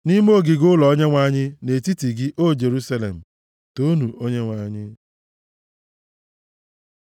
nʼime ogige ụlọ Onyenwe anyị, nʼetiti gị, O Jerusalem. Toonu Onyenwe anyị.